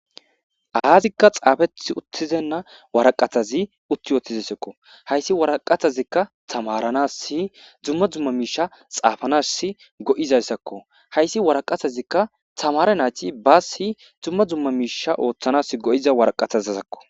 Azika xaafeti uttibeyna woraqatazi utti uttidaysako woraqatazika tamaranasi duma duma misha xaafanasi go'izaysako haysi woraqatazi tamare nayti bees duma duma misha othanas madiza woraqatazako